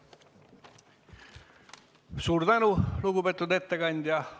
Suur tänu, lugupeetud ettekandja!